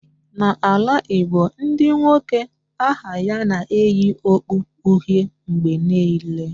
Na ala Igbo Ndị nwoke aha ya na-eyi okpu uhie mgbe niile